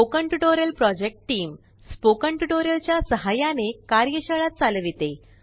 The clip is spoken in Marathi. स्पोकन टयूटोरियल च्या सहाय्याने कार्यशाळा चालविते